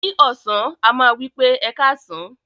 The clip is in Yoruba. Ni ọsan, a ma wipe "Ẹkasan".